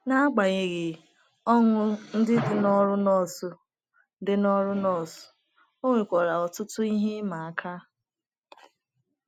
N’agbanyeghị ọṅụ ndị dị n’ọrụ nọọsụ dị n’ọrụ nọọsụ, o nwekwara ọtụtụ ihe ịma aka.